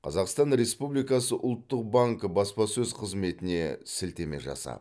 қазақстан республикасы ұлттық банкі баспасөз қызметіне сілтеме жасап